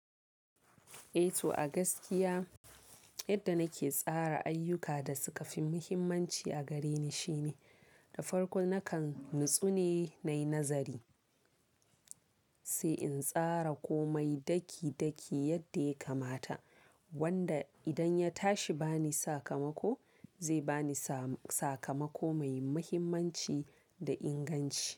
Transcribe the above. Eh to a gaskiya yadda nake tsara ayyuka da suka fi muhimmanci a gare ni shine, da farko nakan natsu ne na nazari, sai in tsara komai daki daki yadda ya kamata wanda idan ya tashi bani sakamako, zai bani sa-sakamako mai muhimmanci da inganci.